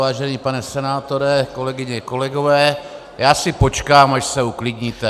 Vážený pane senátore, kolegyně, kolegové, já si počkám, až se uklidníte...